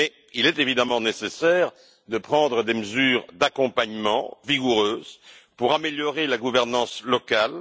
Mais il est évidemment nécessaire de prendre des mesures d'accompagnement vigoureuses pour améliorer la gouvernance locale.